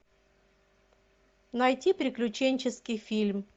найти приключенческий фильм